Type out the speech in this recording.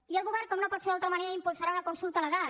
i el govern com no pot ser d’altra manera impulsarà una consulta legal